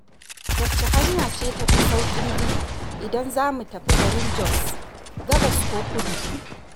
Wacce hanya ce tafi sauƙin bi, idan za mu tafi garin Jos, gabas ko kudu?